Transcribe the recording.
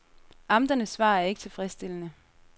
Amternes svar er ikke tilfredsstillende.